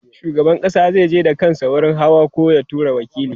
shugaban ƙasa zai je da kansa wurin hawan koh ya tura waƙili